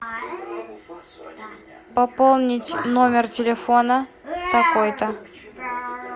пополнить номер телефона такой то